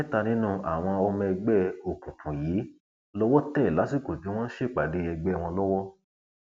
mẹta nínú àwọn ọmọ ẹgbẹ òkùnkùn yìí lowó tẹ lásìkò tí wọn ń ṣèpàdé ẹgbẹ wọn lọwọ